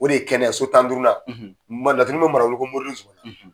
O de ye kɛnɛ so tan ni duurunan ko moridenzu